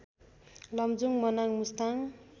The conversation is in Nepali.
लमजुङ मनाङ मुस्ताङ